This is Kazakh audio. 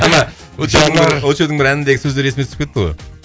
ана очоудың очоудың бір әніндегі сөздер есіме түсіп кетті ғой